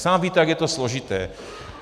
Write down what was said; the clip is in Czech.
Sám víte, jak je to složité.